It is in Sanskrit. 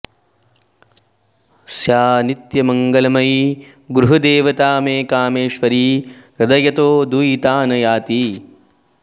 सा नित्यमङ्गलमयी गृह देवता मे कामेश्वरी हृदयतो दुयिता न याति